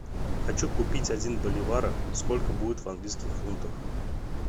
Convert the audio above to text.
хочу купить один боливара сколько будет в английских фунтах